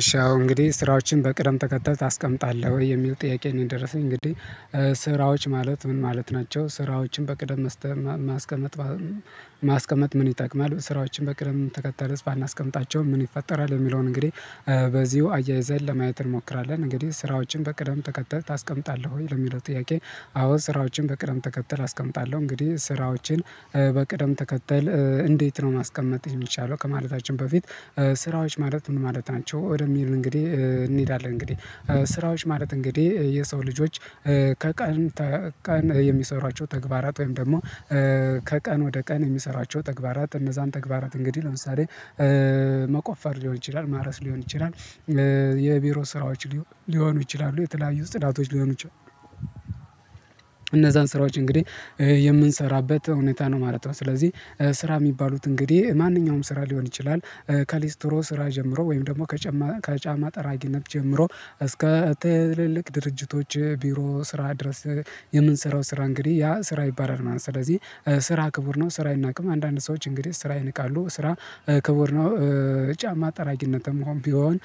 እሺ አሁን እንግዲህ ስራዎችን በቅደም ተከተል ታስቀምጣለህ ወይ? የሚል ጥያቄ ነው የደረሰኝ እንግዲህ ስራዎች ማለት ምን ማለት ናቸው ስራዎችን በቅደም መስተማ ማስቀመጥ ማስቀመጥ ምን ይጠቅማል፣ ስራዎችን በቅደም ተከተል ባናስቀምጣቸውም ምን ይፈጠራል፣ የሚለውን እንግዲህ በዚሁ አያይዘን ለማየት እንሞክራለን። እንግዲህ ስራዎችን በቅደም ተከተል ታስቀምጣለህ ወይ ለሚለው ጥያቄ አዎ ስራዎችን በቅደም ተከተል አስቀምጣለሁ እንግዲህ ስራዎችን በቅደም ተከተል እንዴት ነው ማስቀመጥ የሚቻለው ከማለታችን በፊት ስራዎች ማለት ምን ማለት ናቸው ወደሚል እንግዲህ እንሄዳለን እንግዲህ፤ ስራዎች ማለት እንግዲህ የሰው ልጆች ከቀን ቀን የሚሰሯቸው ተግባራት ወይም ደግሞ ከቀን ወደ ቀን የሚሰሯቸው ተግባራት እነዛን ተግባራት እንግዲህ ለምሳሌ መቆፈር ሊሆን ይችላል፣ ማረስ ሊሆን ይችላል፣ የቢሮ ስራዎች ሊሆኑ ይችላሉ፣ የተለያዩ ጽዳቶች ሊሆኑ ይችላሉ፣ እነዛን ስራዎች እንግዲህ የምንሰራበት ሁኔታ ነው ማለት ነው። ስለዚህ ስራ የሚባሉት እንግዲህ ማንኛውም ስራ ሊሆን ይችላል ከሊስትሮ ስራ ጀምሮ ወይም ደግሞ ከጫማ ጠራጊነት ጀምሮ እስከ ትልልቅ ድርጅቶች ቢሮ ስራ ድረስ የምንሰራው ስራ እንግዲህ ያ ስራ ይባላል ማለት ነው። ስለዚህ ስራ ክቡር ነው ስራ አይናቅም አንዳንድ ሰዎች እንግዲህ ስራ ይንቃሉ ስራ ክቡር ጫማ ጠራጊነትም እንኳን ቢሆን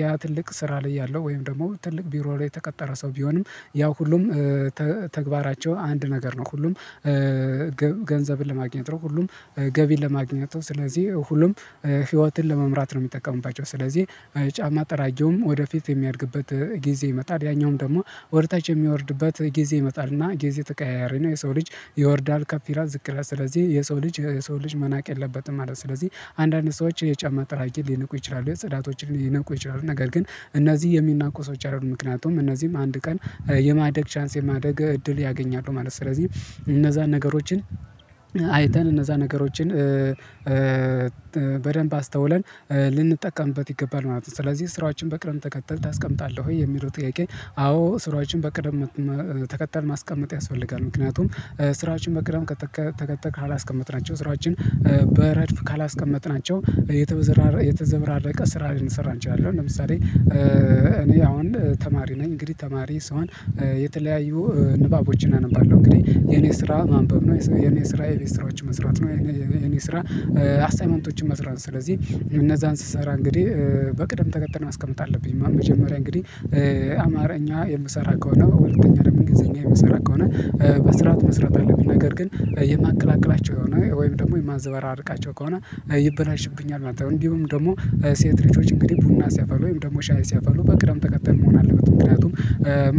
ያ ትልቅ ስራ ላይ ያለው ወይም ደግሞ ትልቅ ቢሮ ላይ የተቀጠረ ሰው ቢሆንም ያው ሁሉም ተግባራቸው አንድ ነገር ነው ሁሉም ገንዘብን ለማግኘት ነው፣ ሁሉም ገቢን ለማግኘት ነው፣ ስለዚህ ሁሉም ህይወትን ለመምራት ነው የሚጠቀሙባቸው ስለዚህ ጫማ ጠራጊውም ወደፊት የሚያድግበት ጊዜ ይመጣል፣ ያኛውም ደግሞ ወደ ታች የሚወርድበት ጊዜ ይመጣል እና ጊዜ ተቀያያሪ ነው የሰው ልጅ ይወርዳል ከፍ ይላል ዝቅ ይላል ስለዚህ የሰው ልጅ የሰውን ልጅ መናቅ የለበትም ማለት ነው፤ ስለዚህ አንዳንድ ሰዎች ጫማ ጠራጊ ሊንቁ ይችላሉ፣ ጸዳቶችን ሊነቁ ይችላሉ ነገር ግን እነዚህ የሚናቁ ሰዎች አይደሉም ምክንያቱም እነዚህም አንድ ቀን የማደግ ቻንስ የማደግ እድል ያገኛሉ ማለት ነው ስለዚህ እነዛን ነገሮችን አይተን እነዛን ነገሮችን በደንብ አስተውለን ልንጠቀምበት ይገባል ማለት ነው ስለዚህ ስራዎችን በቅደም ተከተል ታስቀምጣለህ ወይ የሚለው ጥያቄ አዎ ስራዎችን በቅደም ተከተል ማስቀመጥ ያስፈልጋል፤ ምክንያቱም ስራዎችን በቅደም ከ ተከተል ካላስቀመጥናቸው ስራዎችን በረድፍ ካላስቀመጥናቸው የተዘበራረቀ ስራ ልንሰራ እንችላለን ለምሳሌ እኔ አሁን ተማሪ ነኝ እንግዲህ ተማሪ ስሆን የተለያዩ ንባቦችን አነባለሁ እንግዲህ የኔ ስራ ማንበብ ነው፣ የኔ ስራ የቤት ስራዎችን መስራት ነው፣ የኔ ስራ አሳይመንቶችን መስራት ነው ስለዚህ እነዛን ስሰራ እንግዲህ በቅድም ተከተል ማስቀመጥ አለብኝ። መጀመሪያ እንግዲህ አማርኛ የምሰራ ከሆነ በሁለተኛ ደግሞ እንግሊዘኛ የምሰራ ከሆነ በስርዓት መስራት አለብኝ ነገር ግን የማቀላቅላቸው ከሆነ ወይም ደግሞ የማዘበራርቃቸው ከሆነ ይበላሽብኛል ማለት ነው እንዲሁም ደግሞ ሴት ልጆች እንግዲህ ቡና ሲያፈሉ ወይም ደግሞ ሻይ ሲያፈሉ በቅደም ተከተል መሆን አለበት ምክንያቱም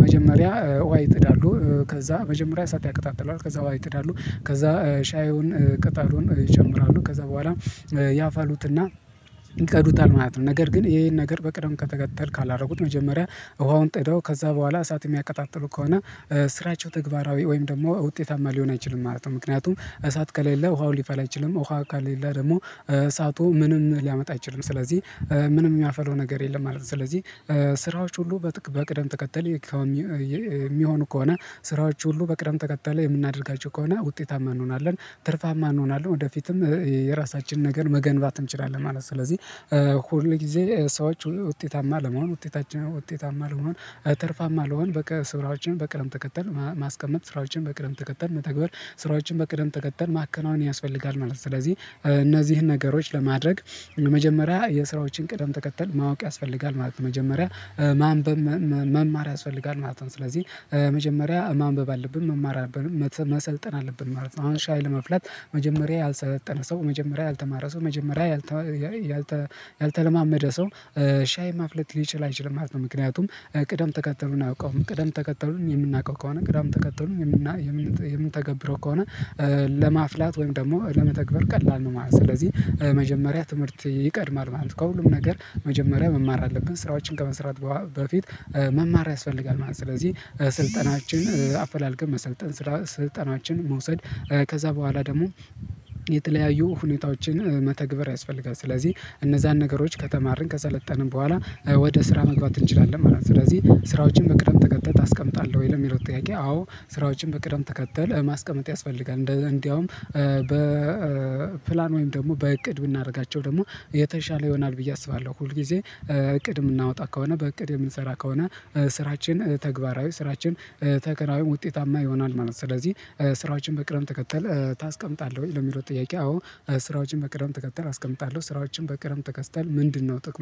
መጀመሪያ ዉሃ ይጥዳሉ ከዛ መጀመሪያ እሳት ያቀጣጥላሉ ከዛ ዉሃ ይጥዳሉ ከዛ ሻዩን ቅጣሉን ይጨምራሉ ከዛ በኋላ ያፈሉትና ይቀዱታል ማለት ነው፤ ነገር ግን ይሄን ነገር በቅደም ተከተል ካላደረጉት መጀመሪያ ውሃውን ጥደው ከዛ በኋላ እሳት የሚያቀጣጥሉ ከሆነ ስራቸው ተግባራዊ ወይም ደግሞ ውጤታማ ሊሆን አይችልም ማለት ነው ምክንያቱም እሳት ከሌለ ውሃው ሊፈላ አይችልም ውሃ ከሌለ ደግሞ እሳቱ ምንም ሊያመጣ አይችልም ስለዚህ ምንም የሚያፈላው ነገር የለም ማለት ነው ስለዚህ ስራዎች ሁሉ በቅደም ተከተል የሚሆኑ ከሆነ ስራዎች ሁሉ በቅደም ተከተል የምናደርጋቸው ከሆነ ውጤታማ እንሆናለን፣ ትርፋማ እንሆናለን፣ ወደፊትም የራሳችንን ነገር መገንባት እንችላለን ማለት ነው፤ ስለዚህ ሁል ጊዜ ሰዎች ውጤታማ ለመሆን ውጤታችን ውጤታማ ለመሆን ትርፋማ ለመሆን ስራዎችን በቅደም ተከተል ማስቀመጥ፣ ስራዎችን በቅደም ተከተል መተግበር፣ ስራዎችን በቅደም ተከተል ማከናወን ያስፈልጋል ማለት ነው። ስለዚህ እነዚህን ነገሮች ለማድረግ መጀመሪያ የስራዎችን ቅደም ተከተል ማወቅ ያስፈልጋል ማለት ነው። መጀመሪያ ማንበብ መማር ያስፈልጋል ማለት ነው ስለዚህ መጀመሪያ ማንበብ አለብን፣ መማር አለብን፣ መሰልጠን አለብን ማለት ነው አሁን ሻይ ለማፍላት መጀመሪያ ያልሰለጠነ ሰው፣ መጀመሪያ ያልተማረ ሰው፣ መጀመሪያ ያልተለማመደ ሰው ሻይ ማፍላት ሊችል አይችልም ማለት ነው ምክንያቱም ቅደም ተከተሉን አያውቀውም። ቅደም ተከተሉን የምናውቀው ከሆነ፣ ቀደም ተከተሉን የምን የምንተገብረው ከሆነ ለማፍላት ወይም ደግሞ ለመተግበር ቀላል ነው ማለት ነው። ስለዚህ መጀመሪያ ትምህርት ይቀድማል ማለት ነው፣ ከሁሉም ነገር መጀመሪያ መማር አለብን ስራዎችን ከመስራት በፊት መማር ያስፈልጋል ማለት ነው ስለዚህ ስልጠናዎችን አፈላልገን መሰልጠን፣ ስልጠናዎችን መውሰድ፣ ከዛ በኋላ ደግሞ የተለያዩ ሁኔታዎችን መተግበር ያስፈልጋል፣ ስለዚህ እነዛን ነገሮች ከተማርን ከሰለጠንን በኋላ ወደ ስራ መግባት እንችላለን ማለት ነው፣ ስለዚህ ስራዎችን በቅደም ተከተል ታስቀምጣለሁ ወይ ለሚለው ጥያቄ አዎ ስራዎችን በቅደም ተከተል ማስቀመጥ ያስፈልጋል እንደውም በፕላን ወይም ደግሞ በእቅድ ብናደርጋቸው ደግሞ የተሻለ ይሆናል ብዬ አስባለሁ። ሁል ጊዜ እቅድ የምናወጣ ከሆነ በእቅድ የምንሰራ ከሆነ ስራችን ተግባራዊ ስራችን ተከራይም ውጤታማ ይሆናል ማለት ነው፤ ስለዚህ በቅደም ተከተል ታስቀምጣለህ ወይ ለሚለው ጥያቄ አዎ ስራዎችን በቅደም ተከተል አስቀምጣለሁ። ስራዎችን በቅደም ተከተል ምንድነው ጥቅሙ